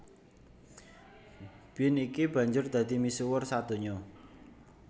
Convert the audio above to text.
Bean iki banjur dadi misuwur sadonya